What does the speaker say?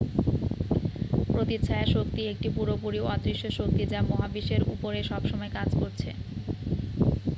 প্রতিচ্ছায়া শক্তি একটি পুরোপুরি অদৃশ্য শক্তি যা মহাবিশ্বের উপরে সবসময় কাজ করছে